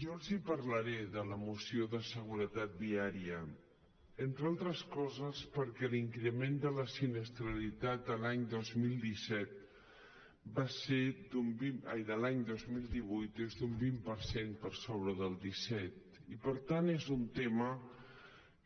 jo els parlaré de la moció de seguretat viària entre altres coses perquè l’increment de la sinistralitat l’any dos mil divuit és d’un vint per cent per sobre del disset i per tant és un tema